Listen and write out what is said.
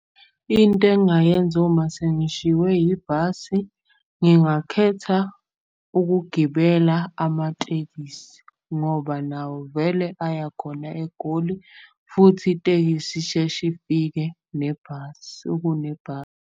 Into engayenza uma sengishiwe yibhasi, ngingakhetha ukugibela amatekisi. Ngoba nawo vele aya khona eGoli futhi itekisi isheshe ifike nebhasi .